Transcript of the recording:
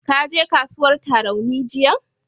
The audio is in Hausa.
Ka je kasuwar Tarauni jiyan?